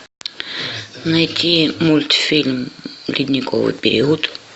найти мультфильм ледниковый период